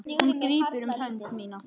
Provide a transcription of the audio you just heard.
Hann grípur um hönd mína.